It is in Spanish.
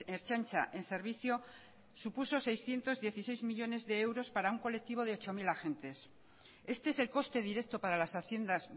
ertzaintza en servicio supuso seiscientos dieciséis millónes de euros para un colectivo de ocho mil agentes este es el coste directo para las haciendas